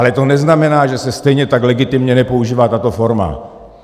Ale to neznamená, že se stejně tak legitimně nepoužívá tato forma.